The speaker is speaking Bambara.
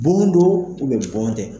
Bon don, bon tɛ.